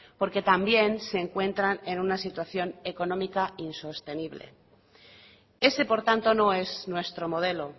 porque también se encuentran en una situación económica insostenible ese por tanto no es nuestro modelo